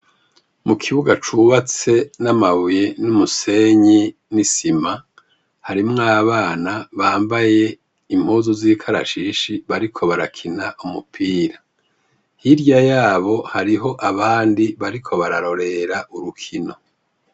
Mu kibuga cubatse n'amabuye n'umusenyi n'isima, harimwo abana bambaye impuzu z'ikarashishi bariko barakina umupira. Hirya yabo hariho abandi bariko bararorera urukino.